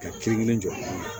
Ka kelen kelen jɔ